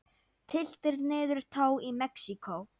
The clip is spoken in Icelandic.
Tylltir niður tá í Mexíkó.